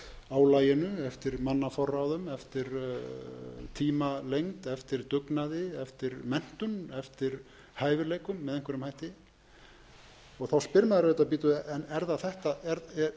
álaginu eftir mannaforráðum eftir tímalengd eftir dugnaði eftir menntun eftir hæfileikum með einhverjum hætti og þá spyr maður auðvitað bíddu eru einu